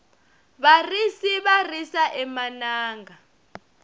varisi va risa emananga